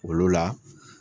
Olu la